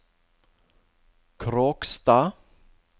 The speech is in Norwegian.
Kråkstad